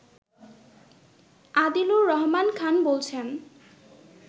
আদিলুর রহমান খান বলছেন